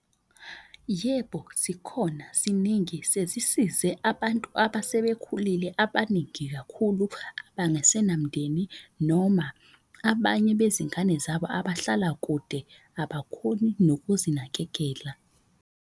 Yebo, zikhona ziningi sezisize abantu abasebekhulile abaningi kakhulu abangasena mndeni, noma abanye bezingane zabo abahlala kude abakhoni nokuzinakekela.